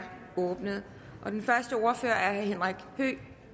åbnet den første ordfører er herre henrik høegh